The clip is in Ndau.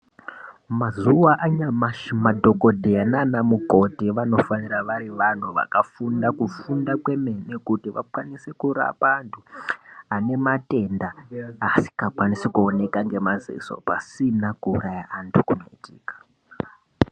Mazuwa anyamashi madhokodheya nana mukoti vanofanira vari vanhu vakafunda kufunda kwemene kuti vakwanise kurapa anthu ane matenda asingakwanisi kuoneka ngemaziso pasina kuuraya anthu.